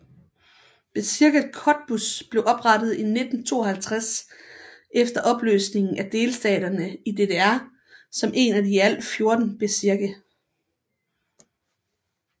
Bezirket Cottbus blev oprettet i 1952 efter opløsningen af delstaterne i DDR som en af i alt 14 bezirke